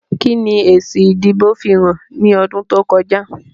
Kí ni èsì ìdìbò fihàn ní ọdún tó kọjá?